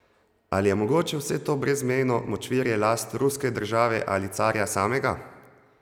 Ali je mogoče vse to brezmejno močvirje last ruske države ali carja samega?